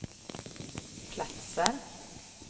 platser